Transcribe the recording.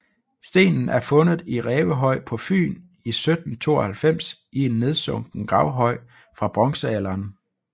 Stenen er fundet i Rævehøj på Fyn i 1792 i en nedsunken gravhøj fra bronzealderen